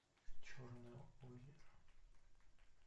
черное озеро